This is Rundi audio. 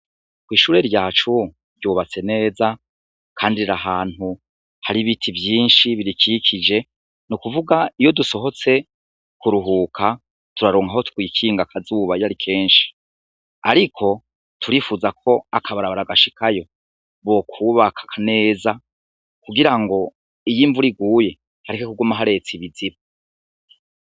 Ishure ryaco ryubatse neza kandi Riri ahantu Hari ibiti vyinshi birikikije n'ukuvuga iyo dusohotse kuruhuka turaronka aho twikinga akazuba iyo ari kenshi, ariko turifuza ko akabarabara gashikayo bokubaka neza kugira ngo iyo imvura iguye hareke kuguma haretse ikiziba.